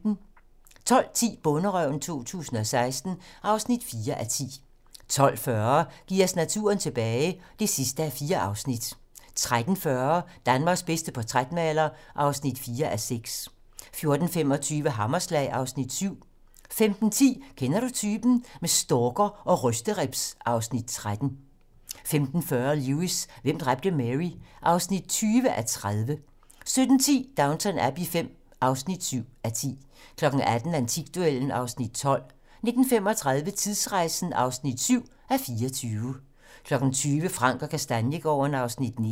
12:10: Bonderøven 2016 (4:10) 12:40: Giv os naturen tilbage (4:4) 13:40: Danmarks bedste portrætmaler (4:6) 14:25: Hammerslag (Afs. 7) 15:10: Kender du typen? - Med stalker og rysteribs (Afs. 13) 15:40: Lewis: Hvem dræbte Mary? (20:30) 17:10: Downton Abbey V (7:10) 18:00: Antikduellen (Afs. 12) 19:35: Tidsrejsen (7:24) 20:00: Frank & Kastaniegaarden (Afs. 19)